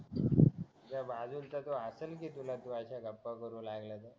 तुझ्या बाजूचा हसलं कि तुला तू अश्या गप्पा मारू लागला तर